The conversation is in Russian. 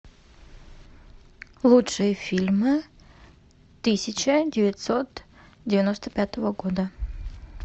лучшие фильмы тысяча девятьсот девяносто пятого года